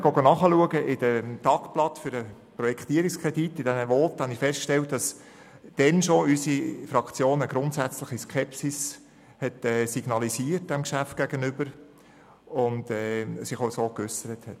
Als ich nachher im Tagblatt in den Voten zum Projektierungskredit nachgeschlagen habe, stellte ich fest, dass unsere Fraktion schon damals diesem Geschäft gegenüber eine grundsätzliche Skepsis signalisiert und sich entsprechend geäussert hat.